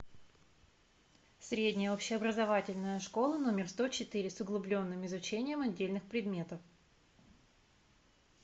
средняя общеобразовательная школа номер сто четыре с углубленным изучением отдельных предметов